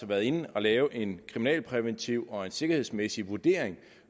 været inde at lave en kriminalpræventiv og en sikkerhedsmæssig vurdering